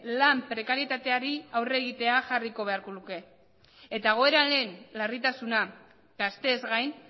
lan prekarietateari aurre egitea jarriko beharko luke eta egoeraren larritasuna gazteez gain